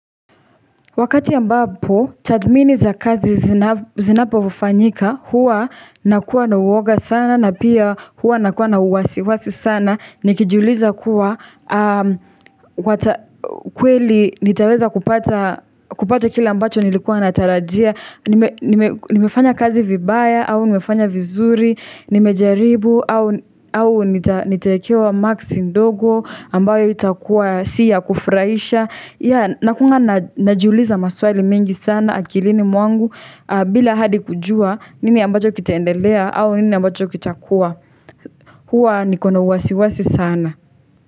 Wakati ambapo, tathmini za kazi zinapofanyika, huwa nakuwa na uoga sana, na pia huwa nakuwa na uwasiwasi sana, nikijiuliza kuwa, kweli nitaweza kupata kile ambacho nilikuwa natarajia, nimefanya kazi vibaya, au nimefanya vizuri, nimejaribu, au nitaekewa maksi ndogo, ambayo haitakuwa si ya kufurahisha. Yaani nakuanga najiuliza maswali mingi sana akilini mwangu bila hadi kujua nini ambacho kitaendelea au nini ambacho kitakuwa. Huwa niko na uwasiwasi sana.